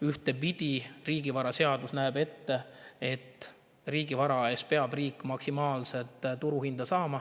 Ühtepidi näeb riigivaraseadus ette, et riigivara eest peab riik saama maksimaalset turuhinda.